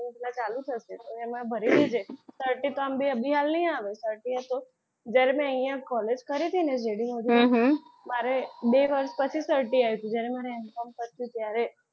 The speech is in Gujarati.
એટલે ચાલુ થશે તો એમાં ભરી દેજે certify તો આમ બી આમ બી હાલ નહીં આવે certify તો જ્યારે મેં અહીંયા collage કરી હતી ને ત્યારે બે વર્ષ પછી certify આવ્યું હતું. જ્યારે હું M com કરતી હતી ત્યારે